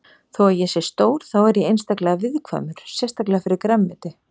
Þó að ég sé stór þá er ég einstaklega viðkvæmur sérstaklega fyrir grænmeti.